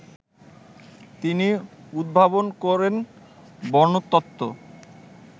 তিনি উদ্ভাবন করেন বর্ণতত্ত্ব